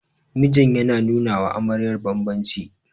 mijin yana nunawa amaryar bambanci